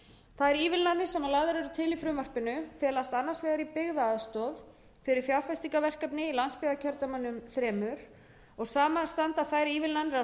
þær ívilnanir sem lagðar eru til í frumvarpinu felast annars vegar í byggðaaðstoð fyrir fjárfestingarverkefni í landsbyggðakjördæmunum þremur og saman standa þær ívilnanir af